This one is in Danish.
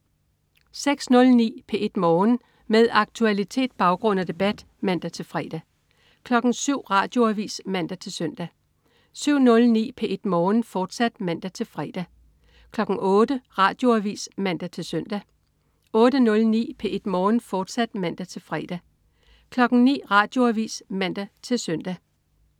06.09 P1 Morgen. Med aktualitet, baggrund og debat (man-fre) 07.00 Radioavis (man-søn) 07.09 P1 Morgen, fortsat (man-fre) 08.00 Radioavis (man-søn) 08.09 P1 Morgen, fortsat (man-fre) 09.00 Radioavis (man-søn)